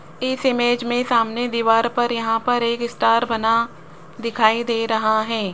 इस इमेज में सामने दीवार पर यहां पर एक स्टार बना दिखाई दे रहा है।